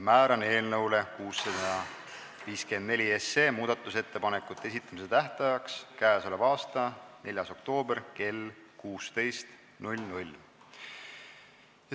Määran eelnõu 654 muudatusettepanekute esitamise tähtajaks k.a 4. oktoobri kell 16.